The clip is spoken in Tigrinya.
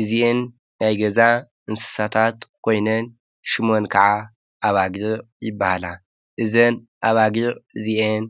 እዚኤን ናይ ገዛ እንስሳታት ኾይነን ሽሞን ከዓ ኣባጊዕ ይበሃላ ። እዘን ኣባጊዕ እዚኤን